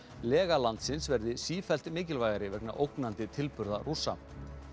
lega landsins verði sífellt mikilvægari vegna ógnandi tilburða Rússa